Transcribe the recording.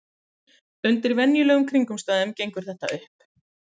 Undir venjulegum kringumstæðum gengur þetta upp.